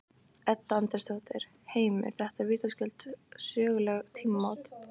Edda Andrésdóttir: Heimir, þetta eru vitaskuld söguleg tímamót?